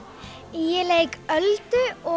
ég leik Öldu og